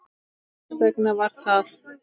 Hvers vegna var það?